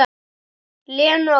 Lenu að kenna.